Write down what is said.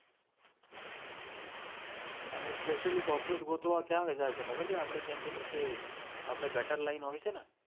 અને specially cockroach ગોતવા ક્યાં જાય છે ખબર છે આપણે જેમ કે નીચે આપડે ગટરલાઈન હોય છે ને ત્ય